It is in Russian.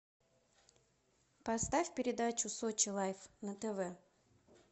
поставь передачу сочи лайф на тв